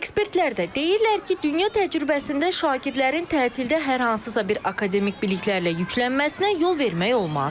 Ekspertlər də deyirlər ki, dünya təcrübəsində şagirdlərin təhsildə hər hansısa bir akademik biliklərlə yüklənməsinə yol vermək olmaz.